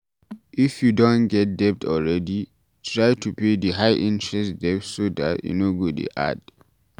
if you don get debt already, try to pay di high interest debt so dat e no go dey add